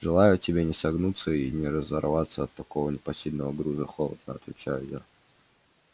желаю тебе не согнуться и не разорваться от такого непосильного груза холодно отвечаю я